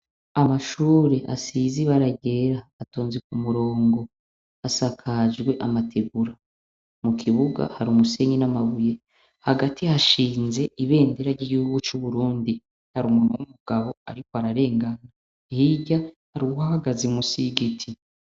Amashur' asiz' ibara ryer' atonze k' umurong' asakajw' amatigura, mu kibuga har' umusenyi n' amabuye, hagati hashinz' ibendera ry' igihugu cu Burundi, har' umuntu w' umugab' arik' ararengana, hirya har' uwuhagaze munsi y' igiti.